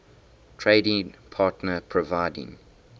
trading partner providing